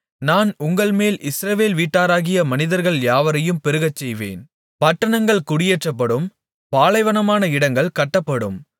நான் உங்கள்மேல் இஸ்ரவேல் வீட்டாராகிய மனிதர்கள் யாவரையும் பெருகச்செய்வேன் பட்டணங்கள் குடியேற்றப்படும் பாலைவனமான இடங்கள் கட்டப்படும்